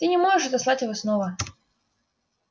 ты не сможешь отослать его снова